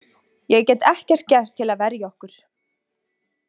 Ég get ekkert gert til að verja okkur.